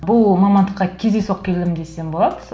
бұл мамандыққа кездейсоқ келгенмін десем болады